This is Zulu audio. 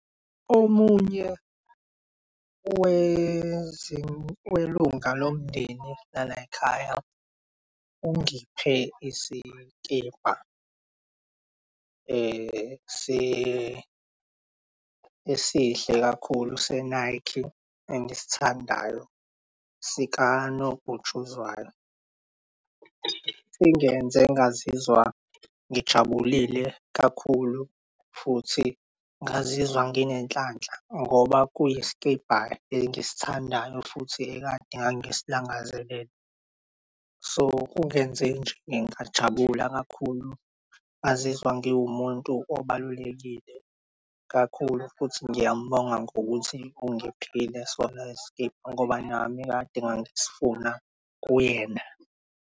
Omunye welunga lomndeni lalayikhaya ungiphe isikibha esihle kakhulu se-Nike engisithandayo sika nobhutshuzwayo. Singenze ngazizwa ngijabulile kakhulu futhi ngazizwa nginenhlanhla ngoba kuyiskibha engisithandayo futhi ekade ngangi silangazelele. So, kungenze nje ngajabula kakhulu ngazizwa ngiwumuntu obalulekile kakhulu futhi ngiyamubonga ngokuthi ungiphile sona leskibha ngoba nami kade ngangisifuna kuyena.